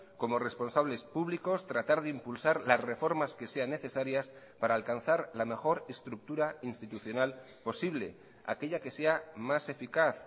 como responsables públicos tratar de impulsar las reformas que sean necesarias para alcanzar la mejor estructura institucional posible aquella que sea más eficaz